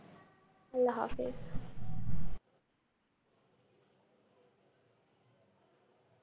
আল্লা হাফিস।